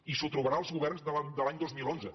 i s’ho trobarà el govern de l’any dos mil onze